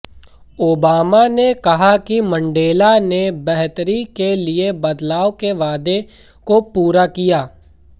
Obama ने कहा कि मंडेला ने बेहतरी के लिए बदलाव के वादे को पूरा किया